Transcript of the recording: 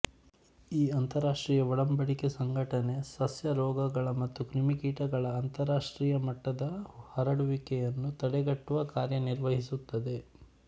ಈ ಅಂತರರಾಷ್ಟ್ರೀಯ ಒಡಂಬಡಿಕೆ ಸಂಘಟನೆ ಸಸ್ಯ ರೋಗಗಳ ಮತ್ತು ಕ್ರಿಮಿಕೀಟಗಳ ಅಂತರರಾಷ್ಟ್ರೀಯ ಮಟ್ಟದ ಹರಡುವಿಕೆಯನ್ನು ತಡೆಗಟ್ಟುವ ಕಾರ್ಯ ನಿರ್ವಹಿಸುತ್ತದೆ